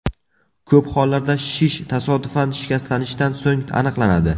Ko‘p hollarda shish tasodifan shikastlanishdan so‘ng aniqlanadi.